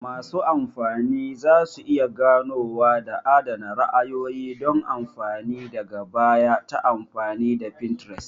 Masu amfani za su iya ganowa da adana ra'ayoyi don amfani daga baya ta amfani da Pinterest